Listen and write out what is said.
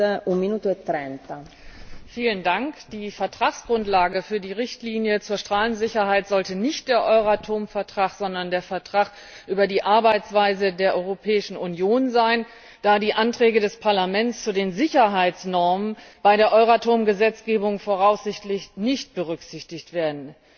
Frau Präsidentin! Die Rechtsgrundlage für die Richtlinie zur Strahlensicherheit sollte nicht der Euratom Vertrag, sondern der Vertrag über die Arbeitsweise der Europäischen Union sein, da die Anträge des Parlaments zu den Sicherheitsnormen bei der Euratom Gesetzgebung voraussichtlich nicht berücksichtigt werden.